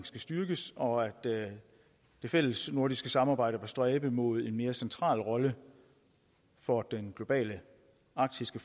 skal styrkes og at det fællesnordiske samarbejde stræbe mod en mere central rolle for den globale arktiske